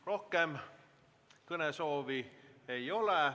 Rohkem kõnesoovi ei ole.